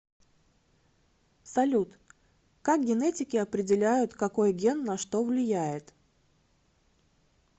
салют как генетики определяют какой ген на что влияет